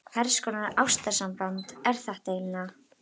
Hvers konar ástarsamband er þetta eiginlega?